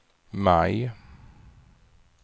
maj